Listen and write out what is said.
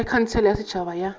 ge khansele ya setšhaba ya